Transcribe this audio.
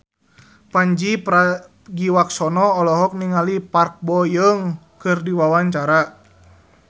Pandji Pragiwaksono olohok ningali Park Bo Yung keur diwawancara